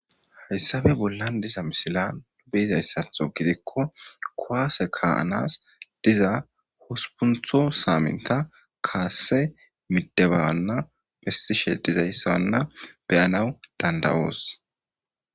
Hayssabe bollan diza misila nu beizayssatho gidikko kowaase kaaanas diza hospuntho saamenta kaasse midebanna bessishe dizayssanna beyanaw dandawoos.